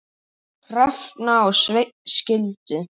Hrefna og Sveinn skildu.